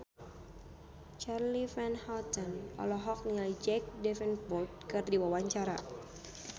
Charly Van Houten olohok ningali Jack Davenport keur diwawancara